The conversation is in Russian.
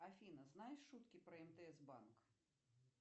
афина знаешь шутки про мтс банк